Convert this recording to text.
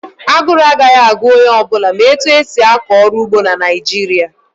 Aguru agaghị agu onye ọ bụla ma etu esi akọ ọrụ ugbo na Naịjirịa